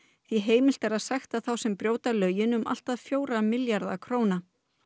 því heimilt er að sekta þá sem brjóta lögin um allt að fjóra milljarða króna